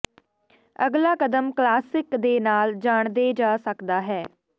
ਅਗਲਾ ਕਦਮ ਕਲਾਸਿਕ ਦੇ ਨਾਲ ਜਾਣਦੇ ਜਾ ਸਕਦਾ ਹੈ